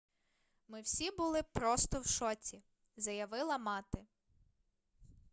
ми всі були просто в шоці - заявила мати